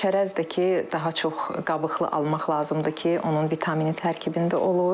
Çərəz də ki, daha çox qabıqlı almaq lazımdır ki, onun vitamini tərkibində olur.